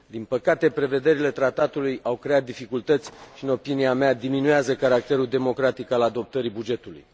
Din păcate, prevederile tratatului au creat dificultăți și, în opinia mea, diminuează caracterul democratic al adoptării bugetului.